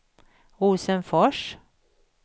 Rosenfors